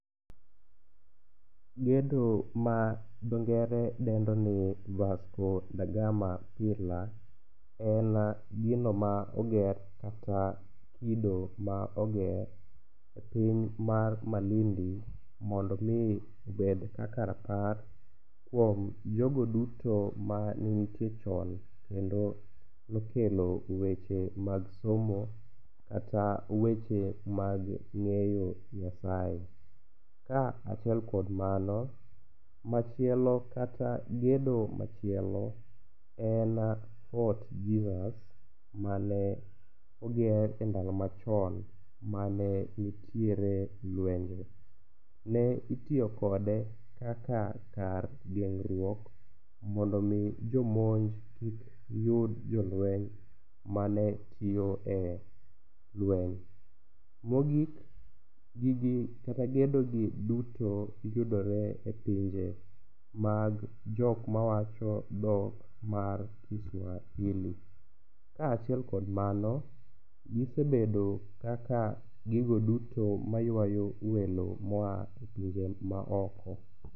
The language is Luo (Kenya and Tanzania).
Gedo ma dho ngere dendo ni Vasco Dagama Pillar en gino ma oger kata kido ma oger e piny mar Malindi mondo mi obed kaka rapar kuom jogo duto manenitie chon kendo nokelo weche mag somo kata weche mag ng'eyo Nyasaye. Kaachiel kod mano, machielo kata gedo m,achielo en Fort Jesus mane oger endalo machon mane nitere lwenje, ne itiyo kode kaka kar geng'ruok mondo mi jomonj kik yud jolueny mane tiyo e lueny. Mogik, gigi kata gedoni yudore e pinje mag jok mawacho dhok mar Kiswahili kaachiel kod mano gisebedo kaka gigo duto mayuayo welo moa e pinje maoko